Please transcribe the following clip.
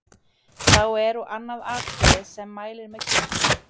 Þá er og annað atriði, sem mælir með kirkjunni.